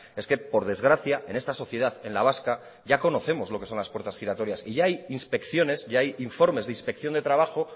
es que por desgracia en esta sociedad en la vasca ya conocemos lo que son las puertas giratorias y hay inspecciones y hay informes de inspección de trabajo